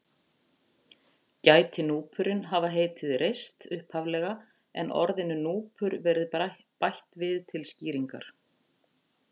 Gæti núpurinn hafa heitið Reist upphaflega en orðinu núpur verið bætt við til skýringar.